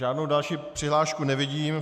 Žádnou další přihlášku nevidím.